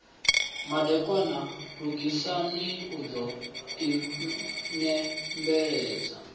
madekwana lugisani u ḓo inembeledza